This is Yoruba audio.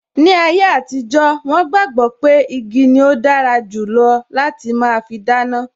Ni ayé àtijó, wọn gbàgbọ́ pé igi ni ó dára jù lọ láti máa fi dáná